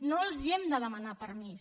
no els hem de demanar permís